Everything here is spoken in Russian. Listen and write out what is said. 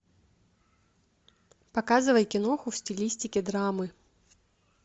показывай киноху в стилистике драмы